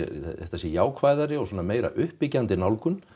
þetta sé jákvæðari og svona meira uppbyggjandi nálgun